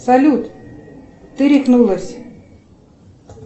салют ты рехнулась